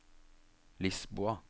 Lisboa